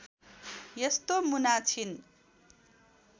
यस्तो मुना छिन्